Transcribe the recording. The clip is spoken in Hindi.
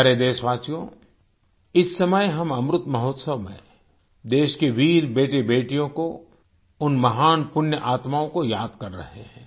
प्यारे देशवासियो इस समय हम अमृत महोत्सव में देश के वीर बेटेबेटियों को उन महान पुण्य आत्माओं को याद कर रहे हैं